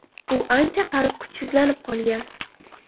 U ancha qarib, kuchsizlanib qolgan.